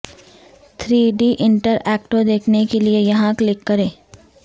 three D interactive دیکھنے کے لیے یہاں کلک کریں